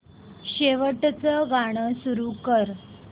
शेवटचं गाणं सुरू कर